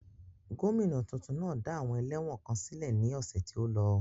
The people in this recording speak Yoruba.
Gomina tuntun náà dá àwọn ẹlẹ́wọ̀n kan sílẹ̀ ní ọ̀sẹ̀ tí ó lọ.